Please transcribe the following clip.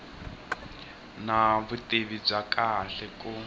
na vutivi bya kahle ku